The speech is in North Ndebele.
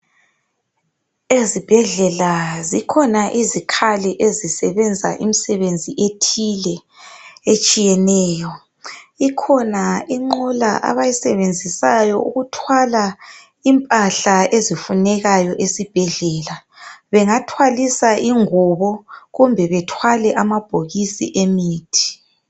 Ezibhendlela zikhona izikhali ezisebenza imsebenzi ethile etshiyeneyo ikhona inqola abayisebenzisayo ukuthwala impahla ezifunekayo esibhedlela bengathwalisa ingubo kumbe bethwale amabhokisi emithi